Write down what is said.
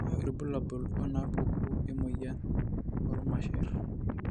Kainyio irbulabul onaapuku emuoyian oormasher?